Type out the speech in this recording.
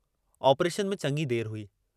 Operation में चङी देर हुई।